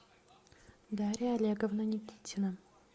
дарья олеговна никитина